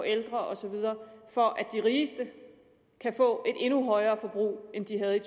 ældre osv for at de rigeste kan få et endnu højere forbrug end de havde